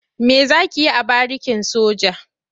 Me za ki yi a barikin soja?